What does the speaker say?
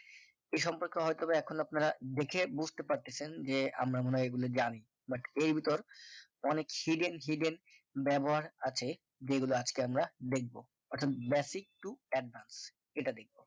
এ সম্পর্কে হয় তো বা এখন আপনারা দেখে বুঝতে পারতেছেন যে আমরা মনে হয় এগুলো জানি but এর ভিতর অনেক hidden hidden ব্যবহার আছে যেগুলো আজকে আমরা দেখব অর্থাৎ basic to advanced এটা দেখব